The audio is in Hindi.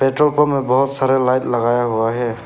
पेट्रोल पंप में बहोत सारा लाइट लगाया हुआ है।